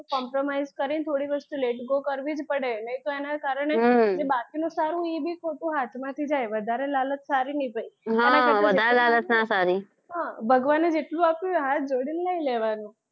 compromise કરીને થોડી વસ્તુ let-go કરવી જ પડે નહીં તો એનાં કારણે જે બાકીનું સારું હોય એ બી ખોટું હાથમાંથી જાય વધારે લાલચ સારી નહીં ભય હા વધારે લાલચ નાં સારી હા ભગવાને જેટલું આપ્યું હોય હાથ જોડીને લઈ લેવાનું.